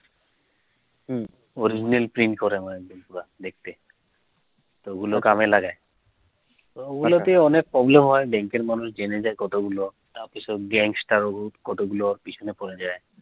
original print করে মনে দেখতে, তো গুলো কামে লাগায়ে তো উগুলো কে অনেক problem হয়ে bank এর মানুষ জেনে জায়ে কতগুলো বাকিসব gangster ও কতগুলো পিছনে পেরে জায়ে